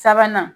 Sabanan